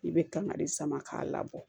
I bɛ kangari sama k'a labɔ